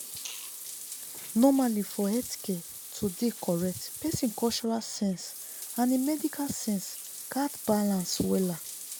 normally for healthcare to dey correctpesin cultural sense and hin medical sense gats balance wella